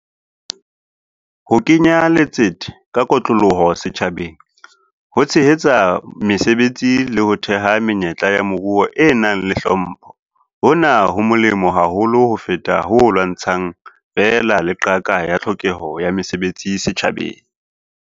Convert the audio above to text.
Ho kenya letsete ka kotloloho setjhabeng ho tshehetsa mesebetsi le ho theha menyetla ya moruo e nang le hlompho hona ho molemo haholo ho feta ho lwantshang feela le qaka ya tlhokeho ya mesebetsi setjhabeng.